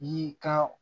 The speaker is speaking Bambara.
I ka